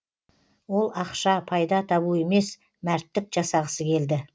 ол ақша пайда табу емес мәрттік жасағысы келді